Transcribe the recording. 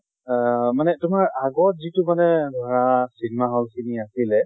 আহ মানে তোমাৰ আগৰ যিটো মানে ধৰা আহ cinema hall খিনি আছিলে